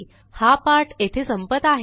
हा पाठ येथे संपत आहे